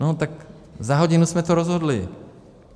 No tak za hodinu jsme to rozhodli.